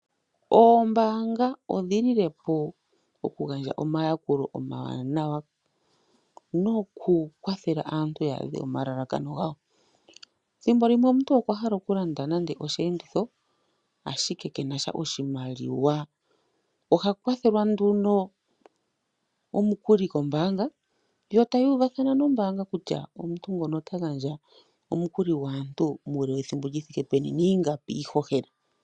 Oombaanga odhi lile po okugandja omayakulo omawanawa nokukwathela aantu ya adhe omalalakano gawo. Thimbo limwe omuntu okwa hala okulanda nande osheenditho, ashike ke na sha oshimaliwa. Oha kwathelwa nduno omukuli kombaanga yo taya uvathana nombaanga kutya omuntu nguno ota gandja omukuli gwaantu muule wethimbo li thike peni niingapi iihohela.